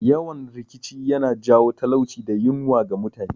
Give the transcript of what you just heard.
Yawan rikici yana jawo talauci da yunwa ga mutane